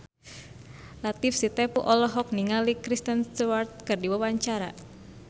Latief Sitepu olohok ningali Kristen Stewart keur diwawancara